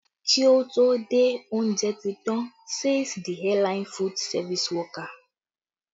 Kí ó tó dé, oúnjẹ ti tàn, says the airline food service worker